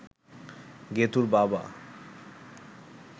গেতুঁর বাবা